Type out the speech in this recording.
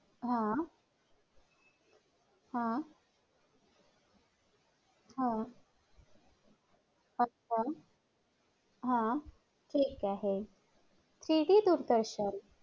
वाढत वाढत्या लोकसंख्या वाढती लोकसंख्या हे एक वातावरण बदलाला हे एक मूळ कारण आहे.